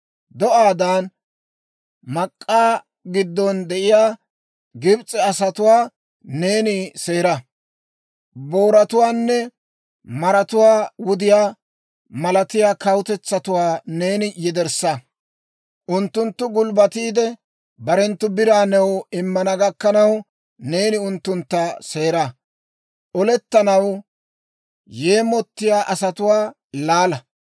Do'aadan mak'k'aa giddon de'iyaa Gibs'e asatuwaa neeni seera. Booratuwaanne maratuwaa wudiyaa, malatiyaa kawutetsatuwaa neeni yederssa. Unttunttu gulbbatiide, barenttu biraa new immana gakkanaw, neeni unttuntta seera. Olettanaw yeemottiyaa asatuwaa laala.